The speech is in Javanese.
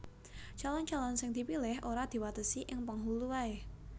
Calon calon sing dipilih ora diwatesi ing penghulu waé